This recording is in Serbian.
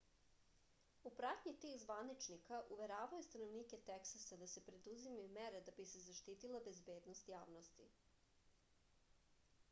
u pratnji tih zvaničnika uveravao je stanovnike teksasa da se preduzimaju mere da bi se zaštitila bezbednost javnosti